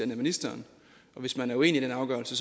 ministeren og hvis man er uenig i den afgørelse